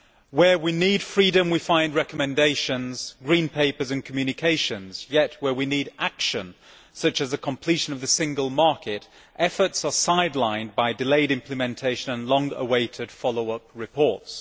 Where we need freedom we find recommendations, green papers and communications, yet where we need action such as the completion of the single market efforts are sidelined by delayed implementation and long awaited follow up reports.